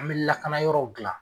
An bɛ lakana yɔrɔw dilan